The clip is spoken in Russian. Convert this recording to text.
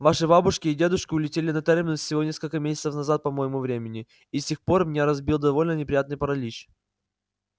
ваши бабушки и дедушки улетели на терминус всего несколько месяцев назад по моему времени и с тех пор меня разбил довольно неприятный паралич